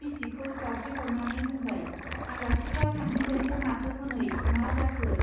बिसिखौ गाबज्रिह'रनानै बुंबाय , आलासिफ्रा थांफिनबायसो माथो हनै, मा जाखो?